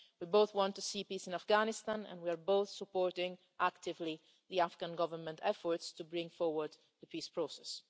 we both want to see peace in Afghanistan and we are both actively supporting the Afghan Government's efforts to bring forward the peace process.